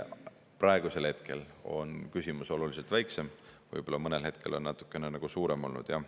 Praegusel hetkel on oluliselt väiksem, võib-olla mõnel hetkel on natukene suurem olnud, jah.